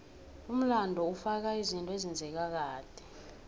umlando ufaka izinto ezenzeka kade